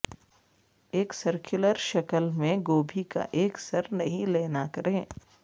ایک سرکلر شکل میں گوبھی کا ایک سر نہیں لینا کریں